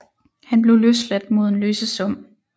Han blev løsladt mod en løsesum